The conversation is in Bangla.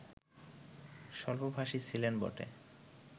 স্বল্পভাষী ছিলেন বটে